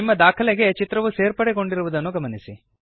ನಿಮ್ಮ ದಾಖಲೆಗೆ ಚಿತ್ರವು ಸೇರ್ಪಡೆಗೊಂಡಿರುವುದನ್ನು ಗಮನಿಸಿ